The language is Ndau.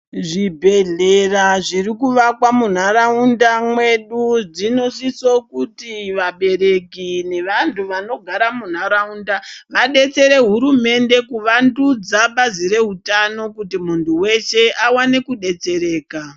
Zvibhehleya zviri kuvakwa mundaraunda medu dzinosisa kuti vabereki nevandu vanogara mundaraunda vadetsere hurumende kuvandudza bazi reutano kuti mundu weshe aone kudetsereka.